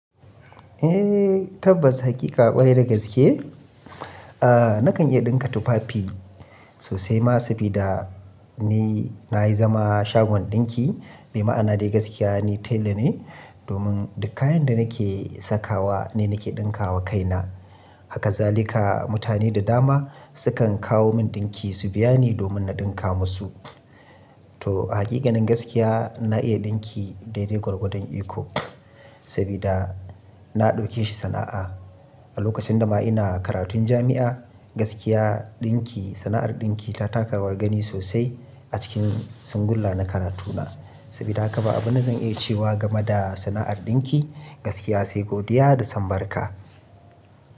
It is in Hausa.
Eh, tabbas hakika ƙwarai da gaske. Ah nakan iya ɗinka tufafi sosai ma sabida ni na yi zama shagon ɗinki, me ma'ana dai gaskiya ni tailor ne domin duk kayan da nake sakawa ni nake ɗinka wa kaina. Haka za lika mutane da dama sukan kawo min ɗinki su biya ni domin na ɗinka musu. To hakikanin gaskiya na iya ɗinki daidai gwargwadon iko sabida na ɗauke shi sana'a. A lokacin da ma ina karatun jami'a, gaskiya ɗinki, sana'ar ɗinki ta taka rawar gani sosai a cikin singulla na karatuna. Sabida haka ba abin zan iya cewa game da sana'ar ɗinki gaskiya sai godiya da sambarka.